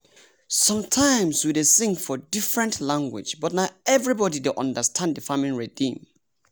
sometimes we dey sing for different language but na everybody dey understand the farming rhythm.